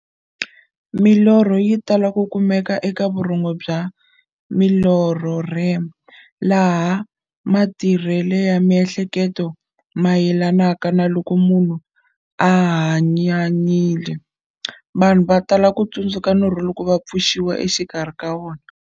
Milorho yi tala ku kumeka eka vurhongo bya milorho, REM, laha matirhele ya miehleketo mayelanaka na loko munhu a hanyanyile. Vanhu va tala ku tsundzuka norho loko va pfuxiwa exikarhi ka wona.